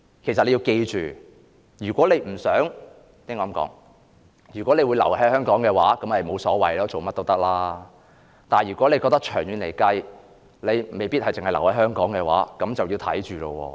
其實你要緊記，如果你不想——我該這麼說——如果你會留在香港的話，那就沒甚麼所謂，你做甚麼都可以，但長遠來說，如果你未必留在香港的話，那就要自己看着辦了。